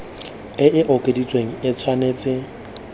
e e okeditsweng e tshwanetse